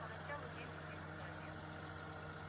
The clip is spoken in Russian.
поначалу день сулил удачу